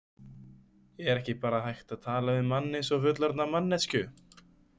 Er ekki bara hægt að tala við mann eins og fullorðna manneskju?